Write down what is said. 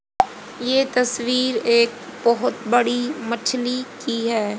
ये तस्वीर एक बहुत बड़ी मछली की है।